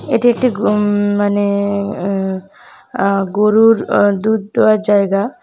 এটি একটি গুম মানে আ-আ আ- গরুর দুধ দেওয়ার জায়গা।